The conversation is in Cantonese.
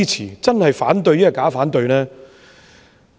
如果是反對，又是否假反對？